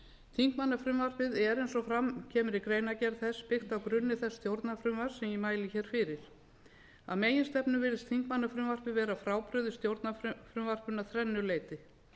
þingmannafrumvarpið er eins og fram kemur í greinargerð þess byggt á grunni þess stjórnarfrumvarps sem ég mæli hér fyrir að meginstefnu virðist þingmannafrumvarpið vera frábrugðið stjórnarfrumvarpinu að þrennu leyti